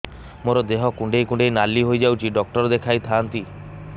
ମୋର ଦେହ କୁଣ୍ଡେଇ କୁଣ୍ଡେଇ ନାଲି ହୋଇଯାଉଛି ଡକ୍ଟର ଦେଖାଇ ଥାଆନ୍ତି